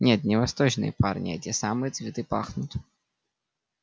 нет не восточные парни а эти самые цветы пахнут